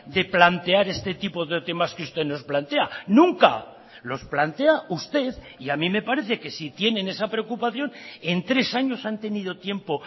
de plantear este tipo de temas que usted nos plantea nunca los plantea usted y a mí me parece que si tienen esa preocupación en tres años han tenido tiempo